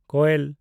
ᱠᱳᱭᱮᱞ